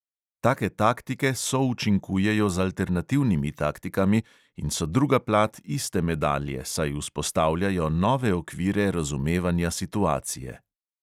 Take taktike součinkujejo z alternativnimi taktikami in so druga plat iste medalje, saj vzpostavljajo nove okvire razumevanja situacije.